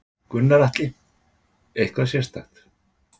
Gunnar Atli: Eitthvað sérstakt?